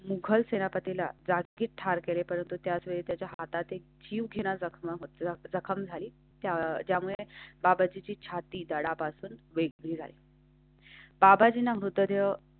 मुगल सेनापती ला जागीच ठार केले, परंतु त्याच वेळी त्याच्या हातात एक जीवघेण्या जखमा होतात जखम झाली त्या ज्यामुळे बाबाजीची छाती धडापासून वेगळे ज्यामुळे.